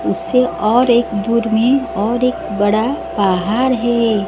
उससे और एक दूर में और एक बड़ा पहाड़ है।